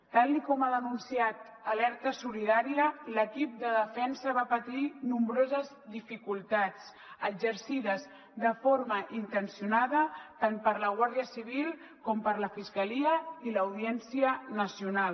tal com ha denunciat alerta solidària l’equip de defensa va patir nombroses dificultats exercides de forma intencionada tant per la guàrdia civil com per la fiscalia i l’audiència nacional